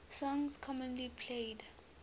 songs commonly played